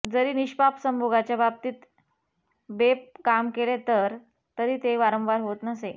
जरी निष्पाप संभोगाच्या बाबतीत बेपर्ा काम केले तरी ते वारंवार होत नसे